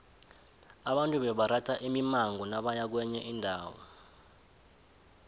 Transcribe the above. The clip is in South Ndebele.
abantu bebaratha imimango nabaya kwenye indawo